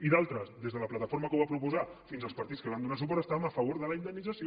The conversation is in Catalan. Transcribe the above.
i d’altres des de la plataforma que ho va proposar fins als partits que hi van donar suport estaven a favor de la indemnització